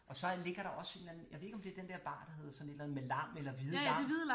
Og så ligger der også en eller anden jeg ved ikke om det er den dér bar der hedder sådan et eller andet med lam eller hvide lam